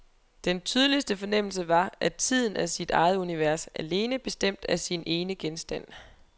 Den tydeligste fornemmelse var, at tiden er sit eget univers, alene bestemt af sin ene genstand.